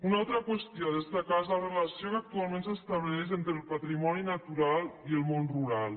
una altra qüestió a destacar és la relació que actualment s’estableix entre el patrimoni natural i el món rural